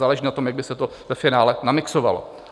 Záleží na tom, jak by se to ve finále namixovalo.